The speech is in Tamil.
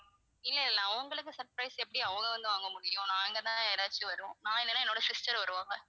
இல்ல இல்ல அவங்களுக்கு surprise எப்படி அவங்க வந்து வாங்க முடியும் நாங்க தான் யாராவது வருவோம் நான் இல்லனா என்னுடைய sister வருவாங்க